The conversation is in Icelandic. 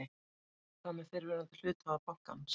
En hvað með fyrrverandi hluthafa bankans?